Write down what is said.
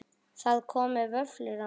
Það komu vöflur á mömmu.